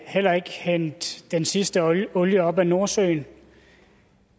heller ikke hente den sidste olie olie op af nordsøen